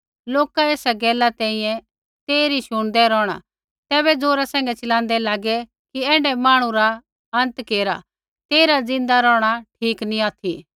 लोका एसा गैला तैंईंयैं तेइरी शुणदै रौहै तैबै ज़ोरा सैंघै चिलाँदै लागै कि ऐण्ढै मांहणु रा आखरी केरा तेइरा ज़िन्दा रौहणा ठीक नी ऑथि